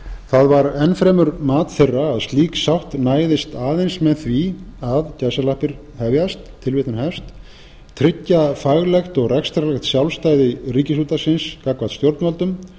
það var enn fremur mat þeirra að slík sátt næðist aðeins með því að tryggja faglegt og rekstrarlegt sjálfstæði ríkisútvarpsins gagnvart stjórnvöldum